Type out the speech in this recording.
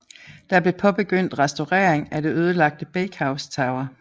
Der blev påbegyndt restaurering af det ødelagte Bakehouse Tower